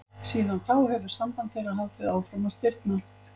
Síðan þá hefur samband þeirra haldið áfram að stirðna.